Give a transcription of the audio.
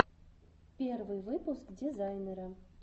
первый выпуск дизайнера